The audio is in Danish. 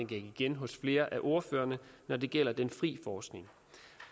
gik igen hos flere af ordførerne når det gælder den frie forskning